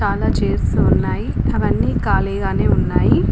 చాలా చైర్స్ ఉన్నాయి అవి అన్ని కాలిగానే ఉన్నాయి.